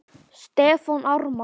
Stefán Ármann.